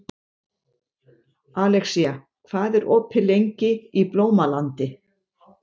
Alexía, hvað er opið lengi í Blómalandi?